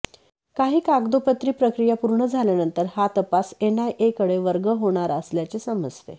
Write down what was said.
काही कागदोपत्री प्रक्रिया पूर्ण झाल्यानंतर हा तपास एनआयएकडे वर्ग होणार असल्याचे समजते